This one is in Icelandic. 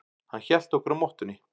Hann hélt okkur á mottunni.